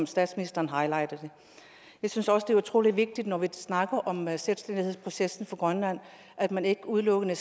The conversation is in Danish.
statsministeren highlightede det jeg synes også det er utrolig vigtigt når vi snakker om selvstændighedsprocessen for grønland at man ikke udelukkende